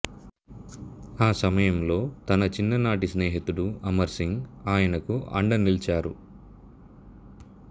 ఆ సమయంలో తన చిన్ననాటి స్నేహితుడు అమర్ సింగ్ ఆయనకు అండ నిలిచారు